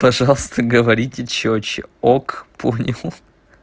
пожалуйста говорите чётче ок понял